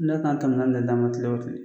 kɛmɛ naani ne d'an ma kile o kile.